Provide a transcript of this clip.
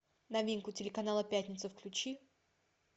новинку телеканала пятница включи